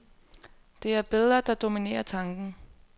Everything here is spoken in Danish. Det er billeder, der dominerer tanken.